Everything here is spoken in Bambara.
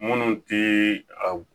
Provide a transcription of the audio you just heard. Munnu ti a